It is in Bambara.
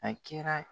A kɛra